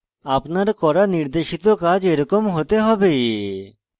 আপনার করা নির্দেশিত কাজ এরকম হতে হবে